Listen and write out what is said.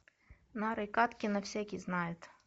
нарой кадкина всякий знает